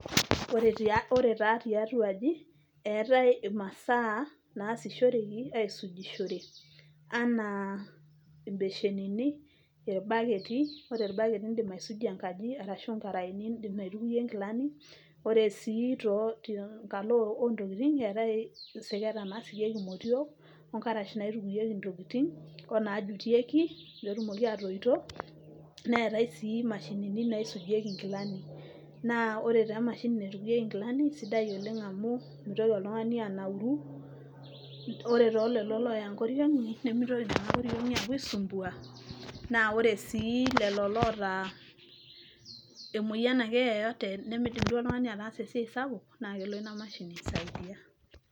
Ore taa tiatua aaji, eetae imasaa naasishoreki aisujishore enaa ibeshenini, irbaketi, ore irbaketi iidim aisujie nkaji, arashu inkaraeni iidim aitukoyie inkilani ore sii tenkalo oo ntokitin eetae isiketa nasikieki imotiok, onkarash naitukieki intookitin, onaajutieki peyie etumoki atoito, neetae sii imashinini naisujieki inkilani. Naa ore taa emashini naitukieki inkilani naa kaisidai oleng amuu meitoki oltung'ani anauru naa ore tolelo looya inkoriong'i nemeitoki inkoriong'i aapuo aisumbua, naa ore sii telolo oota emueyian aake yeyote nemeidim ataas esai sapuk, naa kelo ina mashini aisaidia.